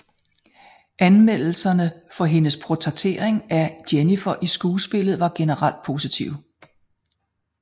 Anmeldelserne for hendes portrættering af Jennifer i skuespillet var generelt positive